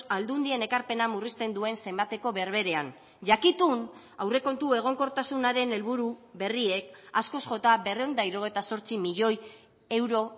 aldundien ekarpena murrizten duen zenbateko berberean jakitun aurrekontu egonkortasunaren helburu berriek askoz jota berrehun eta hirurogeita zortzi milioi euro